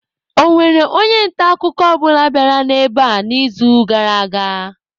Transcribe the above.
Ọ nwere onye nta akụkọ ọ bụla bịara ebe a n'izuụka gara aga?